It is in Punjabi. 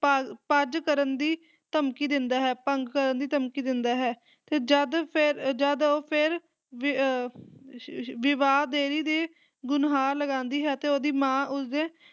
ਭਾ ਭੱਜ ਕਰਨ ਦੀ ਧਮਕੀ ਦਿੰਦਾ ਹੈ, ਭੰਗ ਕਰਨ ਦੀ ਧਮਕੀ ਦਿੰਦਾ ਹੈ, ਤੇ ਜਦ ਫਿਰ ਜਦ ਉਹ ਫਿਰ ਵੀ ਅਹ ਇਸ਼ੀਇਸ਼ੀ ਵਿਵਾਹ ਦੇਰੀ ਦੇ ਗੁਣਹਾਰ ਲਗਾਉਂਦੀ ਹੈ ਅਤੇ ਉਹਦੀ ਮਾਂ ਉਸਦੇ